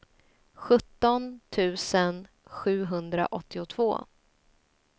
sjutton tusen sjuhundraåttiotvå